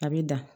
A bɛ dan